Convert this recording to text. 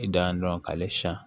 I dan ye dɔrɔn k'ale siɲɛ